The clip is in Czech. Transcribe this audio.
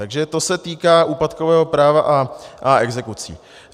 Takže to se týká úpadkového práva a exekucí.